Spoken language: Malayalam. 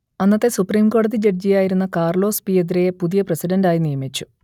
അന്നത്തെ സുപ്രീം കോടതി ജഡ്ജിയായിരുന്ന കാർലോസ് പിയദ്രയെ പുതിയ പ്രസിഡന്റായി നിയമിച്ചു